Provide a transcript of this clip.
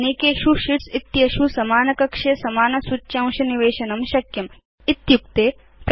अनेकेषु शीट्स् इत्येषु समान कक्षे समानं सूच्यांशं निवेशयितुं काल्क उपयोक्तारं समर्थीकरोति